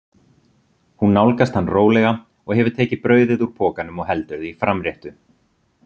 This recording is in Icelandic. Hún nálgast hann rólega og hefur tekið brauðið úr pokanum og heldur því framréttu.